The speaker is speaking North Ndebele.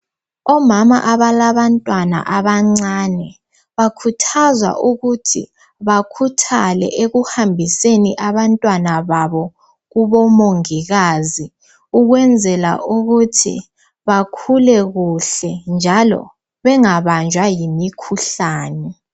Omama abalabantwana abancane, bakhuthazwa ukuthi bakhuthale ekuhambiseni abantwana babo kubomongikazi, ukwenzela ukuthi bakhule kuhle njalo bengabanjwa yimikhuhlane.